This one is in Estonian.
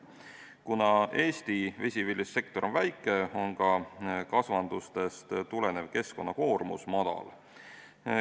Kuna Eesti vesiviljelussektor on väike, on ka kasvandustest tulenev keskkonnakoormus madal.